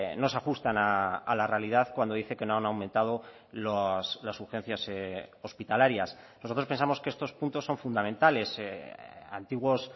no se ajustan a la realidad cuando dice que no han aumentado las urgencias hospitalarias nosotros pensamos que estos puntos son fundamentales antiguos